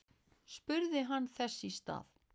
spurði hann þess í stað.